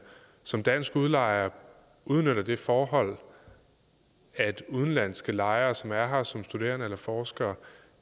som dansk udlejer udnytter det forhold at udenlandske lejere som er her som studerende eller forskere